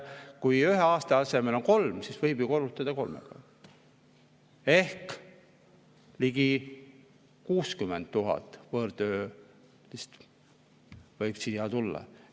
Kui ühe aasta asemel on kolm, siis võib selle ju korrutada kolmega ehk ligi 60 000 võõrtöölist võib siia tulla.